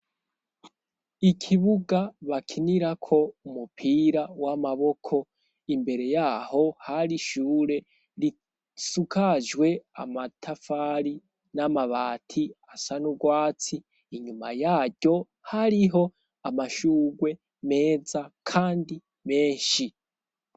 Ikibuga bakinira ko umupira w'amaboko, imbere yaho hari ishure, risukajwe amatafari, n'amabati asanurwatsi ,inyuma yaryo hariho amashurwe meza kandi menshi.